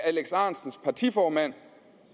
alex ahrendtsens partiformand